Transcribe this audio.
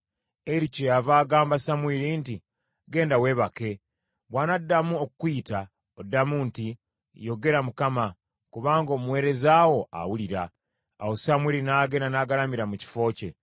Eri kyeyava agamba Samwiri nti, “Genda weebake, bw’anaddamu okukuyita, oddamu nti, Yogera, Mukama , kubanga omuweereza wo awulira.” Awo Samwiri n’agenda n’agalamira mu kifo kye.